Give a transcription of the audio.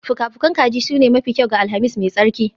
Fuka-fukan kaji sune mafi kyau ga Alhamis mai tsarki